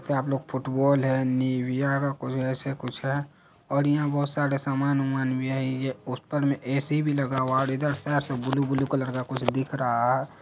यहाँ पे फुटबॉल है निविया का ऐसे कुछ है और यहाँ बहुत सारे सामान ऊमान भी है । ये पोस्टर में ऐसी भी लगा हुआ है और इधर सब ब्लू ब्लू कलर का कुछ दिख रहा है।